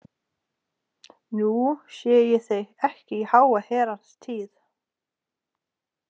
Nú sé ég þig ekki í háa herrans tíð.